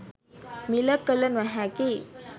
මිල කළ නොහැකි